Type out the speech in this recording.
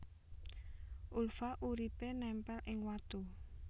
Ulva uripé némpél ing watu